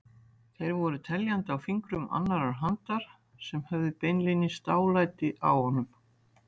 Þeir voru teljandi á fingrum annarrar handar sem höfðu beinlínis dálæti á honum.